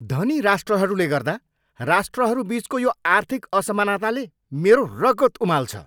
धनी राष्ट्रहरूले गर्दा राष्ट्रहरू बिचको यो आर्थिक असमानताले मेरो रगत उमाल्छ।